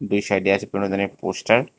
এ সাইডে আছে পুরোনো দিনের পোস্টার ।